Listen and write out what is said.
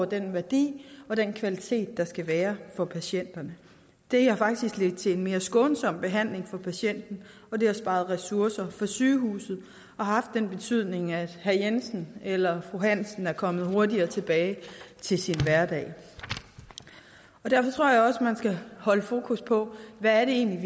den værdi og den kvalitet der skal være for patienten det har faktisk ledt til en mere skånsom behandling af patienten og det har sparet ressourcer for sygehusene og haft den betydning at herre jensen eller fru hansen er kommet hurtigere tilbage til sin hverdag derfor tror jeg også man skal holde fokus på hvad det egentlig